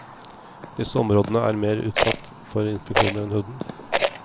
Disse områdene er mer utsatt for infeksjoner enn huden.